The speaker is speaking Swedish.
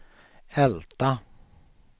Älta